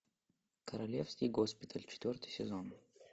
королевский госпиталь четвертый сезон